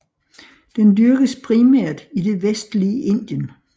Den dyrkes primært i det vestlige Indien